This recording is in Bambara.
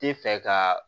Tɛ fɛ ka